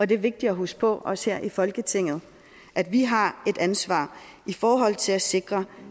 det er vigtigt at huske på også her i folketinget at vi har et ansvar i forhold til at sikre